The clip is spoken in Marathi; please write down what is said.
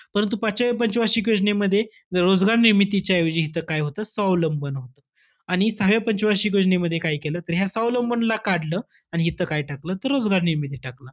परंतु पाचव्या पंच वार्षिक योजनेमध्ये, रोजगार निर्मितीच्या ऐवजी हिथं काय होतं? स्वावलंबन होतं. आणि सहाव्या पंच वार्षिक योजनेमध्ये, काय केलं तर ह्या स्वावलंबनला काढलं आणि हिथं काय टाकलं? तर रोजगार निर्मिती टाकलं.